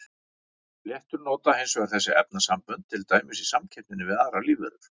Fléttur nota hins vegar þessi efnasambönd til dæmis í samkeppninni við aðrar lífveru.